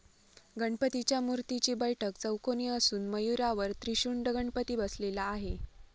गणपतीच्या मूर्तीची बैठक चौकोनी असून मयूरावर त्रिशुंड गणपती बसलेला आहे.